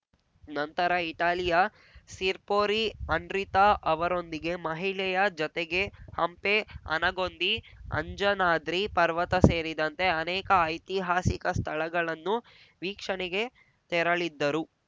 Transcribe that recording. ನಂತರ ಇಟಲಿಯ ಸಿರ್ಪೋರಿ ಅನ್ರಿತಾ ಅವರೊಂದಿಗೆ ಮಹಿಳೆಯ ಜೊತೆಗೆ ಹಂಪೆ ಆನಗೊಂದಿ ಅಂಜನಾದ್ರಿ ಪರ್ವತ ಸೇರಿದಂತೆ ಅನೇಕ ಐತಿಹಾಸಿಕ ಸ್ಥಳಗಳನ್ನುವೀಕ್ಷಣೆಗೆ ತೆರಳಿದ್ದರು